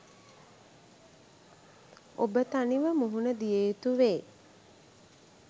ඔබ තනිවම මුහුණ දිය යුතුවේ.